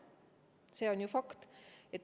See on ju fakt.